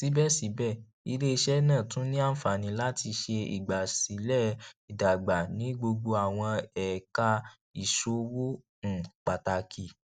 sibẹsibẹ ileiṣẹ naa tun ni anfani lati ṣe igbasilẹ idagba ni gbogbo awọn ẹka iṣowo um pataki